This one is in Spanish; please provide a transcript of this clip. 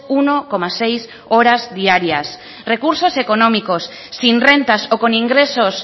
uno coma seis horas diarias recursos económicos sin rentas o con ingresos